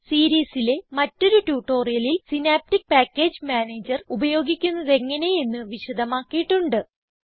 ഈ സീരീസിലെ മറ്റൊരു ട്യൂട്ടോറിയലിൽ സിനാപ്റ്റിക് പാക്കേജ് മാനേജർ ഉപയോഗിക്കുന്നതെങ്ങനെ എന്ന് വിശദമാക്കിയിട്ടുണ്ട്